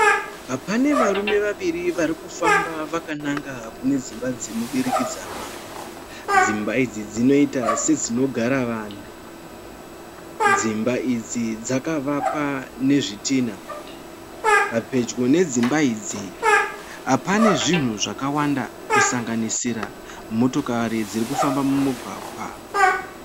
Pane varume vaviri varikufamba vakananga kune dzimba dzemudurikidzanwa. Dzimba idzi dzinoita sedzinogara vanhu. Dzimba idzi dzakavakwa nezvidhina. Pedyo nedzimba idzi pane zvinhu zvakawanda kusanganisira motokari dzirikufamba mumugwagwa.